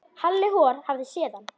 Halli hor hafði séð hann.